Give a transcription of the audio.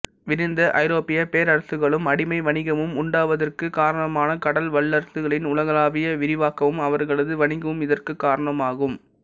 விரிந்த ஐரோப்பியப் பேரசுகளும் அடிமை வணிகமும் உண்டாவதற்குக் காரணமான கடல் வல்லரசுகளின் உலகளாவிய விரிவாக்கமும் அவர்களது வணிகமும் இதற்குக் காரணமாகும்